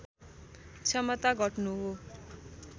क्षमता घट्नु हो